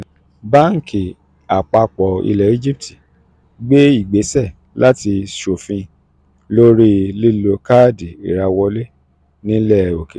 bánkì àpapọ̀ ilẹ̀ egypt gbé ìgbésẹ̀ láti ṣòfin lórí lílo káàdì ìrawọ́lé nílẹ̀ òkèèrè